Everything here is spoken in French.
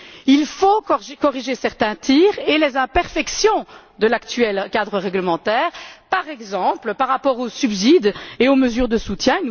Il faut corriger certains tirs et les imperfections de l'actuel cadre réglementaire, par exemple par rapport aux subsides et aux mesures de soutien.